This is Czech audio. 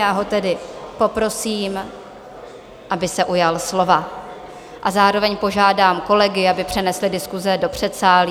Já ho tedy poprosím, aby se ujal slova, a zároveň požádám kolegy, aby přenesli diskuse do předsálí.